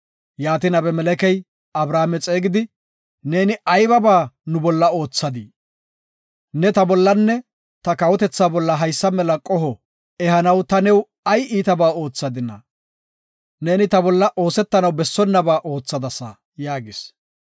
Yaatin Abimelekey Abrahaame xeegidi, “Neeni aybiba nu bolla oothadii? Ne ta bollanne ta kawotetha bolla haysa mela qoho ehanaw ta new ay iitaba oothadina? Neeni ta bolla oosetanaw bessonnaba oothadasa” yaagis.